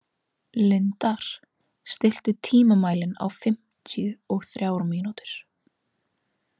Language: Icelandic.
Lindar, stilltu tímamælinn á fimmtíu og þrjár mínútur.